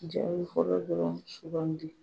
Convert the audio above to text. Jaabi fɔlɔ dɔrɔn sugandi